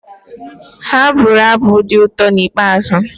Ha bụru abụ dị ụtọ nke ikpeazụ